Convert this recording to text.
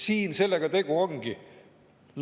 Siin sellega tegu ongi.